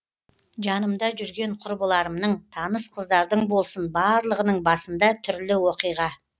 жанымда жүрген құрбыларымның таныс қыздардың болсын барлығының басында түрлі оқиға